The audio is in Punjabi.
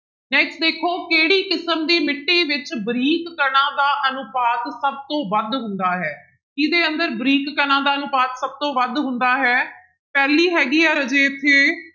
Next ਦੇਖੋ ਕਿਹੜੀ ਕਿਸਮ ਦੀ ਮਿੱਟੀ ਵਿੱਚ ਬਰੀਕ ਕਣਾਂ ਦਾ ਅਨੁਪਾਤ ਸਭ ਤੋਂ ਵੱਧ ਹੁੰਦਾ ਹੈ, ਕਿਹਦੇ ਅੰਦਰ ਬਰੀਕ ਕਣਾਂ ਦਾ ਅਨੁਪਾਤ ਸਭ ਤੋਂ ਵੱਧ ਹੁੰਦਾ ਹੈ, ਪਹਿਲੀ ਹੈਗੀ ਆ ਰਾਜੇ ਇੱਥੇ